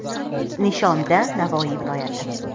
Nishonda Navoiy viloyati.